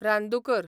रानदुकर